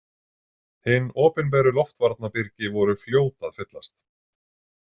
Hin opinberu loftvarnabyrgi voru fljót að fyllast.